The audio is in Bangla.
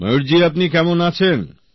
ময়ূর জি আপনি কেমন আছেন